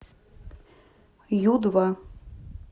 ю два